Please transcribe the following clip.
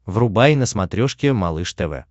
врубай на смотрешке малыш тв